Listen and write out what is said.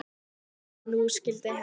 En nú skyldi hefnt.